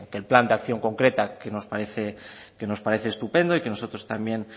el plan de acción concreta que nos parece estupendo y que nosotros también